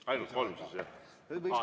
Ainult kolm siis jah?